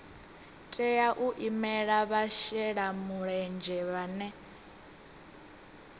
tea u imela vhashelamulenzhe vhane